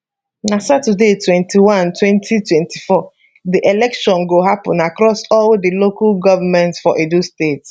na saturday 21 2024 di election go happun across all di local govment for edo state